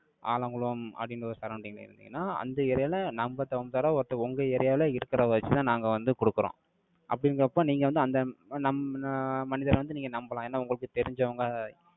ஆலங்குளம், அப்படின்ற ஒரு surrounding ல இருந்தீங்கன்னா, அந்த area ல, நம்பதகுந்தவார ஒருத்தன், உங்க area வுல, இருக்கிறதை வச்சுதான், நாங்க வந்து, கொடுக்கிறோம். அப்படிங்கிறப்ப, நீங்க வந்து, அந்த நம்ந~ மனிதரை வந்து, நீங்க நம்பலாம். ஏன்னா, உங்களுக்கு தெரிஞ்சவங்க,